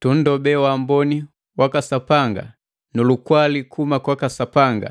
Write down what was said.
Tunndobee waamboni waka Sapanga nu lukwali kuhuma kwaka Sapanga